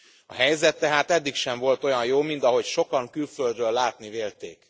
A helyzet tehát eddig sem volt olyan jó, mint ahogy sokan külföldről látni vélték.